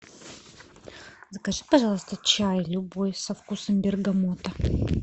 закажи пожалуйста чай любой со вкусом бергамота